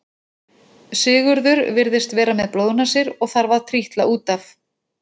Sigurður virðist vera með blóðnasir og þarf að trítla út af.